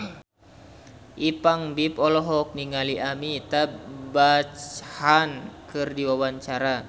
Ipank BIP olohok ningali Amitabh Bachchan keur diwawancara